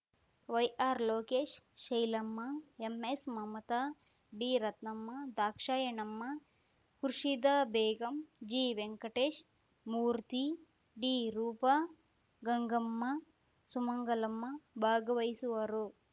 ವೈಆರ್‌ಲೋಕೇಶ್ ಶೈಲಮ್ಮ ಎಂಎಸ್‌ಮಮತಾ ಡಿರತ್ನಮ್ಮ ದಾಕ್ಷಾಯಣಮ್ಮ ಖುರ್ಷಿದಾ ಬೇಗಂ ಜಿವೆಂಕಟೇಶ ಮೂರ್ತಿ ಡಿರೂಪ ಗಂಗಮ್ಮ ಸುಮಂಗಲಮ್ಮ ಭಾಗವಹಿಸುವರು